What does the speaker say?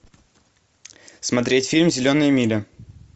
смотреть фильм зеленая миля